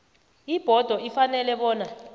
ibhodo ifanele bona